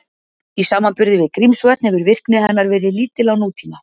Í samanburði við Grímsvötn hefur virkni hennar verið lítil á nútíma.